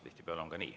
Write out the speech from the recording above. Tihtipeale on ka nii.